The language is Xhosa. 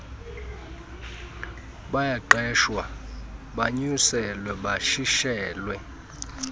bayaqeshwa banyuselwe batshintshelwe